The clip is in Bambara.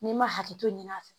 N'i ma hakili to ɲin'a fɛ